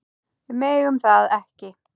Við megum það ekki.